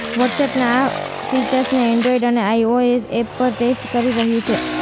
વોટ્સએપના આ ફીચરને એન્ડ્રોઈડ અને આઈઓએસ એપ પર ટેસ્ટ કરી રહ્યું છે